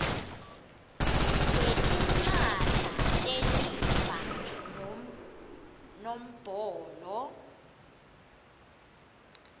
kwetimphahla telifa nombolo